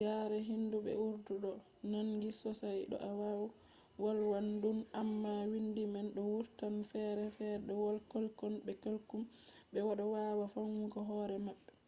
yare hindu be urdu ɗo nandi sosai to a wolwan ɗum amma windi man bo wurtan ferefere be wolde kullum be kullum ɓe ɗo wawa famugo hore maɓɓe